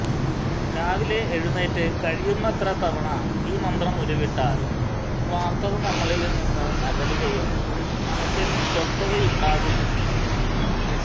രാവിലെ എഴുന്നേറ്റ് കഴിയുന്നത്ര തവണ ഈ മന്ത്രം ഉരുവിട്ടാൽ സ്വാര്ത്ഥ നമ്മളില് നിന്ന് അകലുകയും മനസിൽ സ്വസ്ഥതയുണ്ടാകും ചെയ്യും